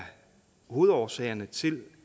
hovedårsagerne til